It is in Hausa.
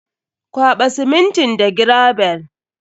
Kwaɓa simintin da gravel.